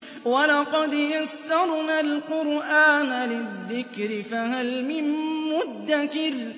وَلَقَدْ يَسَّرْنَا الْقُرْآنَ لِلذِّكْرِ فَهَلْ مِن مُّدَّكِرٍ